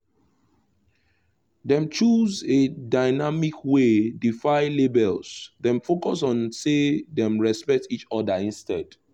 them choose a dynamic wey defile labels dem focus on say them respect each other instead